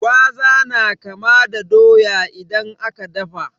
Gwaza na kama da doya idan aka dafa.